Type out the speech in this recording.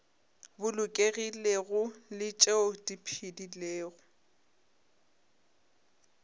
bolokegilego le tšeo di phedilego